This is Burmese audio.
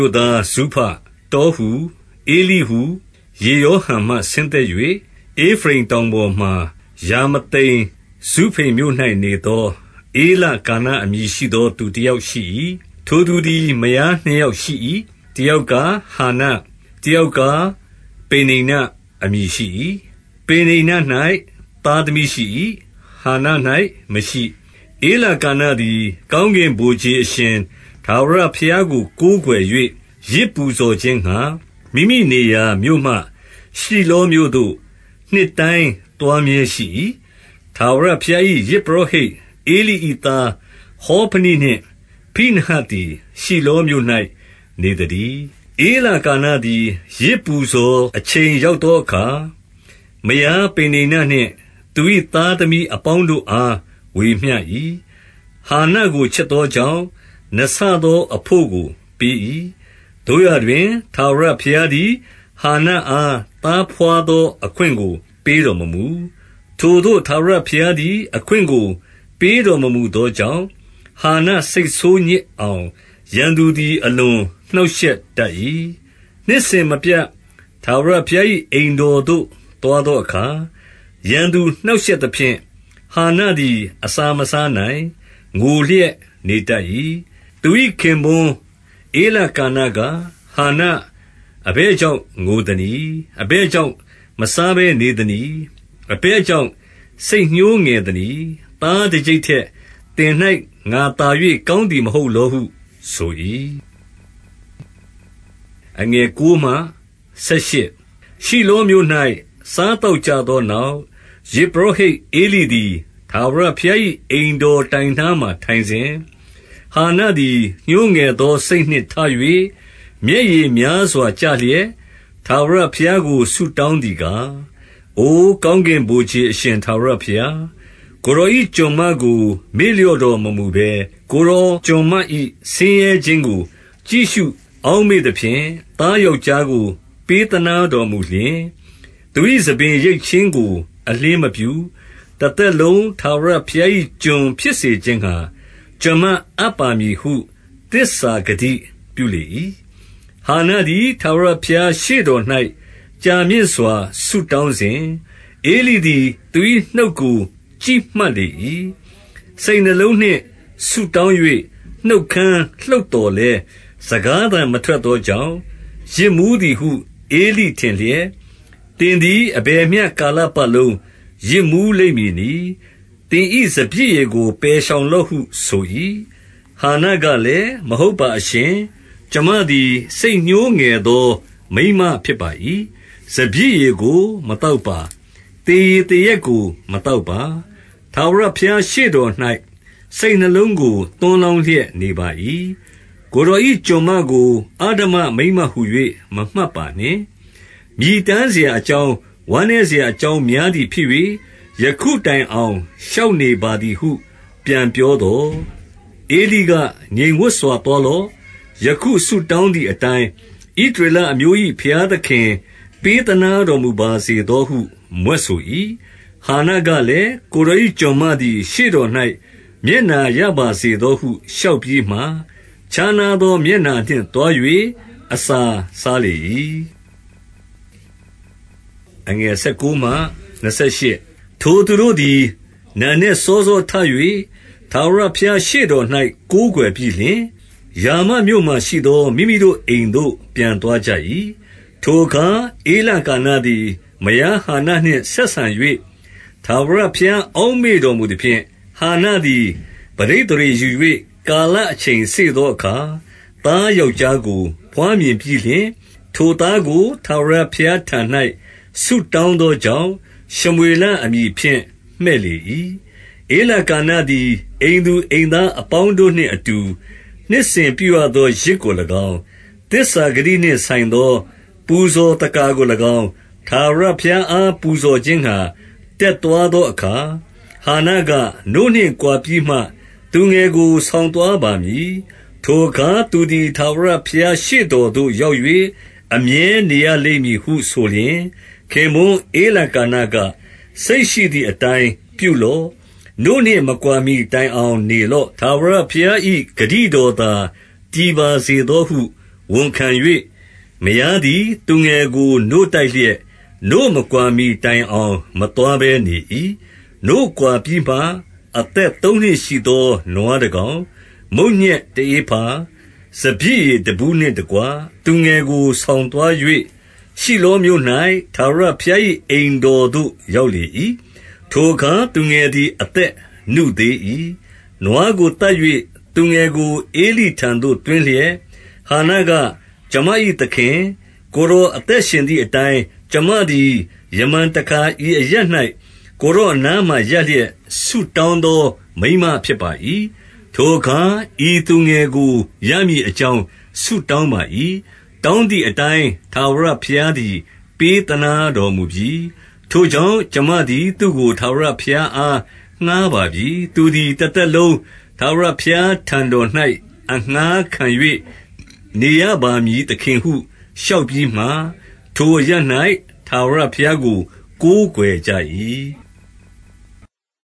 ို့သားဇုဖ၊ တောဟူ၊ ဧလိဟူ၊ ယေရောဟံမှ ဆင်းသက်၍ ဧဖရိမ်တောင်ပေါ်မှာ ရာမသိမ် ဇုဖိမ်မြို့၌နေသော ဧလကာနအမည်ရှိသော သူတယောက်ရှိ၏။ ထိုသူသည် မယားနှစ်ယောက်ရှိ၏။ တယောက်ကား၊ ဟန္န၊ တယောက်ကား ပေနိန္နအမည် ရှိ၏။ ပေနိန္န၌ သားသမီးရှိ၏။ ဧလကာနသည် ကောင်းကင်ဗိုလ်ခြေ အရှင်ထာဝရဘုရားကို ကိုးကွယ်၍ ယဇ်ပူဇော်ခြင်းငှါ၊ မိမိနေရာ မြို့မှ ရှိလောမြို့သို့ နှစ်တိုင်းသွားမြဲ၏။ ထာဝရဘုရား၏ ယဇ်ပုရောဟိတ် ဧလိ၏သား ဟောဖနိနှင့် ဖိနဟတ်သည် ရှိလောမြို့၌ နေသတည်း။ ဧလကာနသည် ယဇ်ပူဇော်အချိန် ရောက်သောအခါ၊ မယားပေနိန္နနှင့် သူ၏ သားသမီးအပေါင်းတို့ အား ဝေမျှ၏။ ဟန္နကိုချစ်သောကြောင့် နှစ်ဆသောအဘို့ကို ပေး၏။ သို့ရာတွင် ထာဝရဘုရားသည် ဟန္နအား သားဘွားသော အခွင့်ကို ပေးတော်မမူ။ ထိုသို့ ထာဝရဘုရားသည် အခွင့်ကို ပေးတော်မမူသောကြောင့်၊ ဟန္န စိတ်ဆိုးညစ်အောင် ရန်သူသည် အလွန်နှောင့်ယှက်တတ်၏။ နှစ်စဉ်မပြတ် ထာဝရဘုရား၏ အိမ်တော်သို့ သွားသောအခါ၊ ရန်သူနှောင့်ရှက်သဖြင့် ဟန္နသည် အစာမစားနိုင်၊ ငိုလျက် နေတတ်၏။ သူ၏ ခင်ပွန်း ဧလကာနက၊ ဟန္န အဘယ်ကြောင့် ငိုသနည်း။ အဘယ်ကြောင့် မစားဘဲနေသနည်း။ အဘယ်ကြောင့် စိတ်ညှိုးငယ်သနည်း။ သားတကျိပ်ထက် သင်၌ ငါသာ၍ ကောင်းသည် မဟုတ် လောဟုဆို၏။ ရှိလောမြို့၌ စားသောက်ကြသောနောက်၊ ယဇ်ပုရောဟိတ် ဧလိသည် ထာဝရဘုရား၏ အိမ်တော် တိုင်နားမှာ ထိုင်စဉ်၊- ဟန္နသည် ညှိုးငယ်သောစိတ်နှင့် ထ၍၊ မျက်ရည်များစွာကျလျက် ထာဝရဘုရားကို ဆုတောင်းသည် ကား၊- အိုကောင်းကင် ဗိုလ်ခြေအရှင်ထာဝရဘုရား၊ ကိုယ်တော်၏ ကျွန်မကို မေ့လျော့တော်မမူဘဲ၊ ကိုယ်တော် ကျွန်မ၏ ဆင်းရဲခြင်းကို ကြည့်ရှုအောက်မေ့သဖြင့်၊ သားယောက်ျားကို ပေးသနားတော်မူလျှင်၊ သူ၏ ဆံပင်ရိတ်ခြင်းကို အလျှင်းမပြု။ တသက်လုံး ထာဝရဘုရား၏ ကျွန်ဖြစ်စေခြင်းငှါ ကျွန်မအပ်ပါ မည်ဟု သစ္စာဂတိပြုလေ၏။ ဟန္နသည် ထာဝရဘုရားရှေ့တော်၌ ကြာမြင့်စွာ ဆုတောင်းစဉ်၊ ဧလိသည် သူ၏ နှုတ်ကို ကြည့်မှတ် လေ၏။ စိတ်နှလုံးနှင့် ဆုတောင်း၍ နှုတ်ခမ်းလှုပ်သော်လည်း၊ စကားသံမထွက်သောကြောင့်၊ ယစ်မူးသည်ဟု ဧလိထင်လျက်၊ သင်သည် အဘယ်မျှ ကာလပတ်လုံး ယစ်မူးလိမ့်မည်နည်း။ သင်၏ စပျစ်ရည်ကို ပယ်ရှောင်လော့ ဟု ဆို၏။ ဟန္နကလည်း၊ မဟုတ်ပါအရှင်။ ကျွန်မသည် ညှိုးငယ်သော မိန်းမဖြစ်ပါ၏။ စပျစ်ရည်ကို မသောက် ပါ၊ သေရည်သေရက်ကို မသောက်ပါ၊ ထာဝရဘုရားရှေ့တော်၌ စိတ်နှလုံးကို သွန်းလောင်းလျက် နေပါ၏။ ကိုယ်တော်၏ ကျွန်မကို အဓမ္မ မိန်းမဟူ၍ မမှတ်ပါနှင့်။ မြည်တမ်းစရာ အကြောင်း၊ ဝမ်းနည်းစရာ အကြောင်းများသည်ဖြစ်၍၊ ယခုတိုင်အောင် လျှောက်နေပါသည်ဟု ပြန်ပြောသော်၊ ဧလိက၊ ငြိမ် ဝပ်စွာသွားလော့။ ယခု ဆုတောင်းသည်အတိုင်း၊ ဣသရေလအမျိုး၏ ဘုရားသခင် ပေးသနားတော် မူပါစေသောဟု မြွက်ဆို၏။ ဟန္နကလည်း၊ ကိုယ်တော်၏ ကျွန်မသည် ရှေ့တော်၌ မျက်နှာရပါစေသောဟု လျှောက်ပြီးမှ၊ ခြားနား သော မျက်နှာနှင့် သွား၍ အစာစားလေ၏။ ထိုသူတို့သည် နံနက်စောစောထ၍ ထာဝရဘုရားရှေ့တော်၌ ကိုးကွယ်ပြီးလျှင်၊ ရာမမြို့မှာရှိသော မိမိတို့အိမ်သို့ ပြန်သွားကြ၏။ ထိုအခါ ဧလကာနသည် မယားဟန္နနှင့် ဆက်ဆံ၍ ထာဝရဘုရား အောက်မေ့တော်မူသဖြင့်၊- ဟန္နသည် ပဋိသန္ဓေယူ၍ ကာလအချိန်စေ့သောအခါ၊ သားယောက်ျားကို ဘွားမြင်ပြီးလျှင်၊ ထိုသားကို ထာဝရဘုရားထံ၌ ဆုတောင်းသောကြောင့်၊ ရှမွေလအမည်ဖြင့် မှည့်လေ၏။ ဧလကာနသည် အိမ်သူအိမ်သားအပေါင်းတို့နှင့်အတူ နှစ်စဉ် ပြုရသော ယဇ်ကို၎င်း၊ သစ္စာဂတိ နှင့်ဆိုင်သော ပူဇော်သက္ကာကို၎င်း၊ ထာဝရဘုရားအား ပူဇော်ခြင်းငှါ တက်သွားသောအခါ၊- ဟန္နက၊ နို့နှင့်ကွာပြီးမှ သူငယ်ကို ဆောင်သွားပါမည်။ ထိုအခါ သူသည် ထာဝရဘုရားရှေ့တော်သို့ ရောက်၍ အမြဲနေရလိမ့်မည်ဟုဆိုလျှင်၊- ခင်ပွန်းဧလကာနက၊ စိတ်ရှိသည် အတိုင်းပြုလော့။ နို့နှင့်မကွာမှီတိုင်အောင် နေလော့။ ထာဝရဘုရား ၏ ဂတိတော်သာ တည်ပါစေသောဟု ဝန်ခံ၍၊ မယားသည် သူငယ်ကို နို့တိုက်လျက် နို့မကွာမှီတိုင် အောင် မသွားဘဲနေ၏။ နို့ကွာပြီးမှ၊ အသက်သုံးနှစ်ရှိသော နွားတကောင်၊ မုန့်ညက် တဧဖာ၊ စပျစ်ရည်တဘူးနှင့်တကွ သူငယ်ကို ဆောင်သွား၍၊ ရှိလောမြို့၌ ထာဝရဘုရား၏ အိမ်တော်သို့ ရောက်လေ၏။ ထိုအခါ သူငယ်သည် အသက်နုသေး၏။ နွားကိုသတ်၍ သူငယ်ကို ဧလိထံသို့ သွင်းလျက်၊ ဟန္နက၊ ကျွန်မ၏သခင်၊- ကိုယ်တော် အသက်ရှင်သည်အတိုင်း၊ ကျွန်မသည် ယမန်တခါ ဤအရပ်၌ ကိုယ်တော်အနားမှာ ရပ်လျက် ဆုတောင်းသော မိန်းမဖြစ်ပါ၏။ ထိုအခါ ဤသူငယ်ကို ရမည်အကြောင်း ဆုတောင်းပါ၏။ တောင်းသည်အတိုင်း ထာဝရဘုရားသည် ပေးသနားတော်မူပြီ။ ထိုကြောင့် ကျွန်မသည် သူ့ကို ထာဝရဘုရားအား ငှါးပါပြီ။ သူသည် တသက်လုံး ထာဝရဘုရားထံ တော်၌ အငှါးခံ၍ နေရပါမည်သခင်ဟု လျှောက်ပြီးမှ၊ ထိုအရပ်၌ ထာဝရဘုရားကို ကိုးကွယ်ကြ၏။